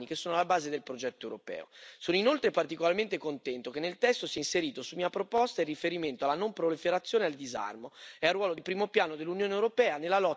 Sono inoltre particolarmente contento che nel testo si è inserito, su mia proposta, il riferimento alla non proliferazione e al disarmo e al ruolo di primo piano dell'Unione europea nella lotta per la messa al bando delle armi nucleari.